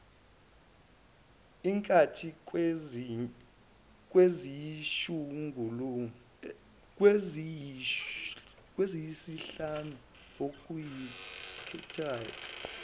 inkethi kweziyisihlanu oyikhethayo